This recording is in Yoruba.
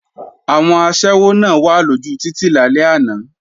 Àwọn aṣẹ́wó náà wà lójú títì lálẹ́ àná